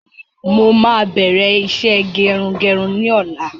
Mo máa bẹ̀rẹ̀ iṣẹ́ gerugeru ni ọ̀la